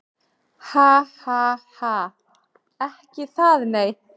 Ha ha ha. Ekki það nei.